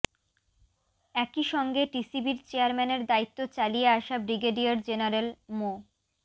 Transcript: একই সঙ্গে টিসিবির চেয়ারম্যানের দায়িত্ব চালিয়ে আসা ব্রিগেডিয়ার জেনারেল মো